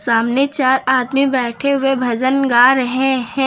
सामने चार आदमी बैठे हुए भजन गा रहे हैं।